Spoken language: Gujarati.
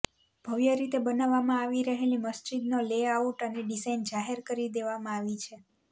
ભવ્ય રીતે બનાવવામાં આવી રહેલી મસ્જિદનો લેઆઉટ અને ડિઝાઇન જાહેર કરી દેવામાં આવી છે